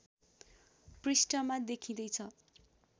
पृष्ठमा देखिँदै छ